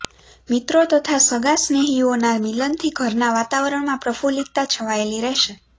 મિત્રો તથા સગાંસ્નેહીઓના મિલનથી ઘરના વાતાવરણમાં પ્રફુલ્લિતતા છવાયેલી રહેશે